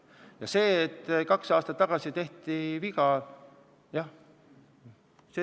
Jah, kaks aastat tagasi tehti viga.